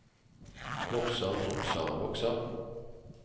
vokser vokser vokser